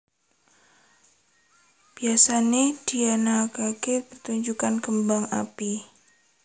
Biyasané dianakaké pertunjukan kembang api